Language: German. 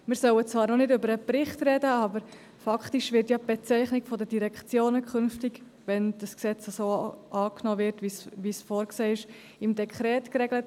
Wir sollten zwar noch nicht über den Bericht sprechen, aber faktisch wird die Bezeichnung der Direktionen künftig, wenn das Gesetz so angenommen wird, wie es vorgesehen ist, im Dekret geregelt.